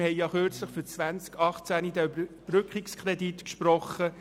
Wir haben kürzlich einen Überbrückungskredit für das Jahr 2018 gesprochen.